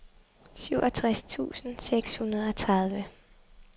syvogtres tusind seks hundrede og tredive